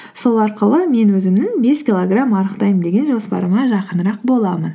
сол арқылы мен өзімнің бес килограмм арықтаймын деген жоспарыма жақынырақ боламын